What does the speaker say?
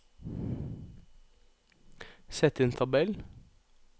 Sett inn tabell